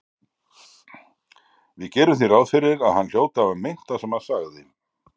Við gerum því ráð fyrir að hann hljóti að hafa meint það sem hann sagði.